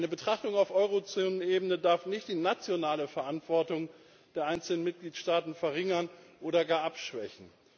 Eine Betrachtung auf Eurozonenebene darf nicht die nationale Verantwortung der einzelnen Mitgliedstaaten verringern oder gar abschwächen.